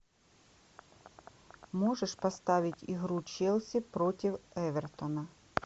можешь поставить игру челси против эвертона